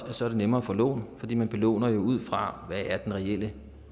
det så er nemmere at få lån fordi man jo belåner ud fra hvad den reelle